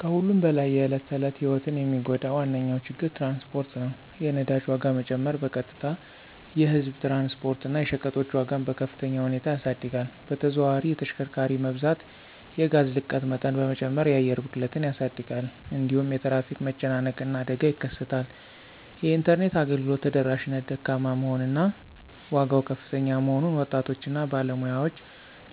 ከሁሉም በላይ የዕለት ተዕለት ሕይወትን የሚጎዳ ዋነኛ ችግር ትራንስፖርት ነው። የነዳጅ ዋጋ መጨመር በቀጥታ የህዝብ ትራንስፖርት እና የሸቀጦች ዋጋን በከፍተኛ ሁኔታ ያሳድጋል። በተዘዋዋሪ የተሽከርካሪ መብዛት የጋዝ ልቀት መጠን በመጨመር የአየር ብክለትን ያሳድጋል። እንዲሁም የትራፊክ መጨናነቅ እና አደጋ ይከሰታል። የኢንተርኔት አገልግሎት ተደራሽነት ደካማ መሆን እና ዋጋው ከፍተኛ መሆኑን ወጣቶች እና ባለሙያዎች